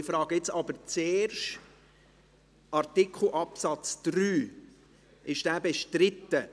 Ich frage jetzt aber zuerst: Ist Absatz 3 dieses Artikels bestritten?